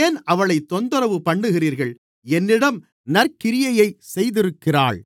ஏன் அவளைத் தொந்தரவு பண்ணுகிறீர்கள் என்னிடம் நற்கிரியையைச் செய்திருக்கிறாள்